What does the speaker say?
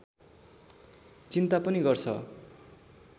चिन्ता पनि गर्छ